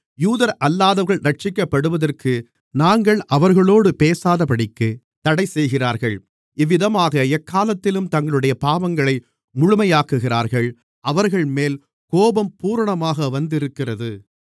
யூதரல்லாதவர்கள் இரட்சிக்கப்படுவதற்கு நாங்கள் அவர்களோடு பேசாதபடிக்குத் தடை செய்கிறார்கள் இவ்விதமாக எக்காலத்திலும் தங்களுடைய பாவங்களை முழுமையாக்குகிறார்கள் அவர்கள்மேல் கோபம் பூரணமாக வந்திருக்கிறது